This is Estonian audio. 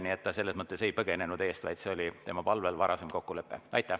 Nii et ta selles mõttes ei põgenenud siit, vaid see oli tema palvel varasem kokkulepe.